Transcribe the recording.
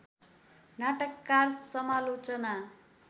नाटककार समालोचना